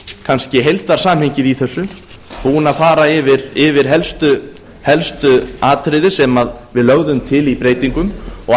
kannski heildarsamhengið í þessu búinn að fara yfir helstu atriði sem við lögðum til í breytingum og